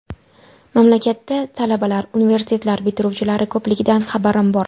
Mamlakatda talabalar, universitetlar bitiruvchilari ko‘pligidan xabarim bor.